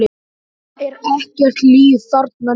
Það er ekkert líf þarna niðri.